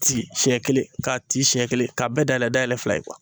Ci siɲɛ kelen k'a ci siɲɛ kelen k'a bɛɛ dayɛlɛ dayɛlɛ fila ye